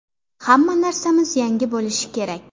Hamma narsamiz yangi bo‘lishi kerak.